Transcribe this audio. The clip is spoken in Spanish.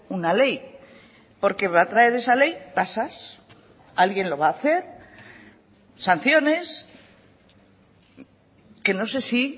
una ley porque va a traer esa ley tasas alguien lo va a hacer sanciones que no sé si